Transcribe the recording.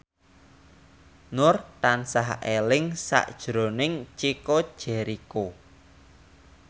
Nur tansah eling sakjroning Chico Jericho